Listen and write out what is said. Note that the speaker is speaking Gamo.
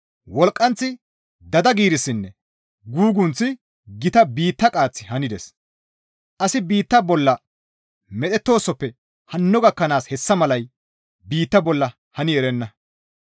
Wolqqanththi, dada giirissinne gugunththi, gita biitta qaaththi hanides. Asi biitta bolla medhettoosoppe hanno gakkanaas hessa malay biitta bolla hani erenna.